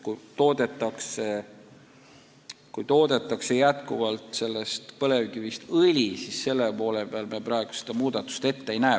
Kui põlevkivist toodetakse õli, siis seal me praegu muudatust ette ei näe.